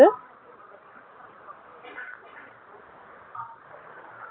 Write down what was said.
sleeper ஆ